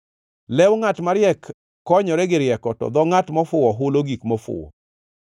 Lew ngʼat mariek konyore gi rieko, to dho ngʼat mofuwo hulo gik mofuwo.